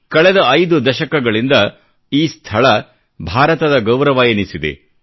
ಕಳೆದ 5 ದಶಕಗಳಿಂದ ಈ ಸ್ಥಳ ಭಾರತದ ಗೌರವವೆನಿಸಿದೆ